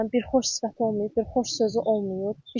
Bir xoş sifəti olmayıb, bir xoş sözü olmayıb.